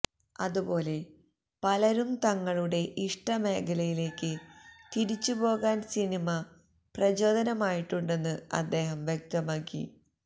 അതുപോലെ പലരും തങ്ങളുടെ ഇഷ്ടമേഖലയിലേക്ക് തിരിച്ചുപോകാന് സിനിമ പ്രചോദനമായിട്ടുണ്ടെന്ന് അദ്ദേഹം വ്യക്തമാക്കി